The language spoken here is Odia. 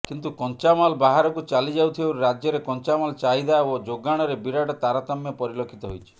କିନ୍ତୁ କଞ୍ଚାମାଲ ବାହାରକୁ ଚାଲିଯାଉଥିବାରୁ ରାଜ୍ୟରେ କଞ୍ଚାମାଲ ଚାହିଦା ଓ ଯୋଗାଣରେ ବିରାଟ ତାରତମ୍ୟ ପରିଲକ୍ଷିତ ହୋଇଛି